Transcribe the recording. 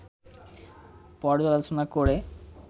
পর্যালোচনা করে